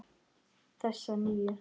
Þessa nýju.